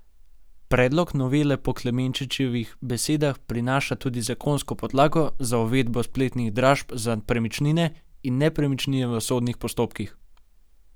Predlog novele po Klemenčičevih besedah prinaša tudi zakonsko podlago za uvedbo spletnih dražb za premičnine in nepremičnine v sodnih postopkih.